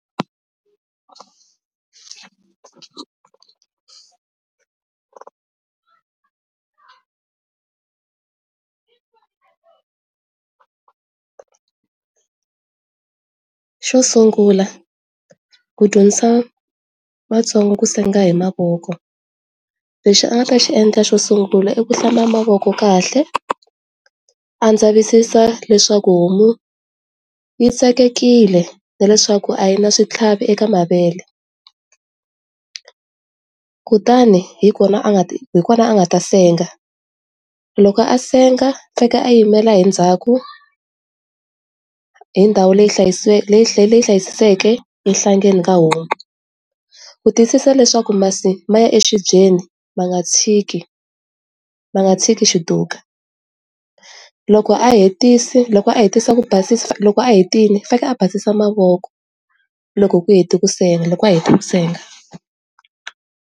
Xo sungula ku dyondzisa vatsongo ku senga hi mavoko lexi a nga ta xi endla xo sungula i ku hlamba mavoko kahle a ndzavisisa leswaku homu yi tsakekile na leswaku a yi na switlhavi eka mavele kutani hi kona a nga hi kona a nga ta senga loko a senga fika a yimela hi ndzhaku hi ndhawu leyi hlayise leyi hlayisekeke enhlangeni ka homu. Ku tiyisisa leswaku masi ma ya exibyeni ma nga tshiki ma nga tshiki xi tuka. Loko a hetisa loko a hetisa ku basisa loko a hetile u fanele a basisa movoko loko a heta ku senga.